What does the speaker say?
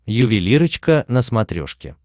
ювелирочка на смотрешке